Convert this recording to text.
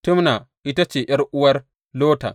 Timna ita ce ’yar’uwar Lotan.